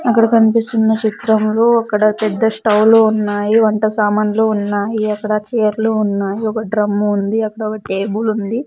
ఇక్కడ కనిపిస్తున్న చిత్రం లో అక్కడ పెద్ద స్టవ్ లు ఉన్నాయి వంట సామాన్లు ఉన్నాయి అక్కడ చైర్లు ఉన్నాయి ఒక డ్రమ్ము ఉంది అక్కడ ఒక టెబుల్ ఉంది.